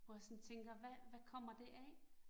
Hvor jeg sådan tænker, hvad hvad kommer det af?